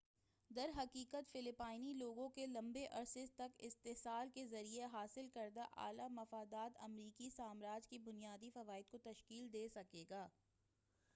درحقیقت فلپائنی لوگوں کے لمبے عرصے تک استحصال کے ذریعہ حاصل کردہ اعلی مفادات امریکی سامراج کے بنیادی فوائد کو تشکیل دے گا